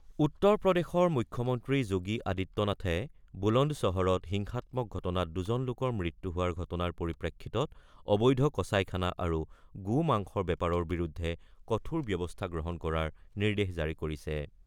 উত্তৰ প্ৰদেশৰ মুখ্যমন্ত্ৰী যোগী আদিত্য নাথে বুলন্দ চহৰত হিংসাত্মক ঘটনাত দুজন লোকৰ মৃত্যু হোৱাৰ ঘটনাৰ পৰিপ্ৰেক্ষিতত অবৈধ কচাইখানা আৰু গো মাংসৰ বেপাৰৰ বিৰুদ্ধে কঠোৰ ব্যৱস্থা গ্ৰহণ কৰাৰ নিৰ্দেশ জাৰি কৰিছে।